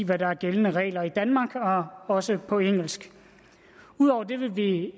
hvad der er gældende regler i danmark også på engelsk ud over det vil vi